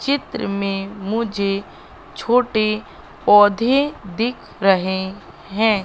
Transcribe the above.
चित्र में मुझे छोटे पौधे दिख रहे हैं।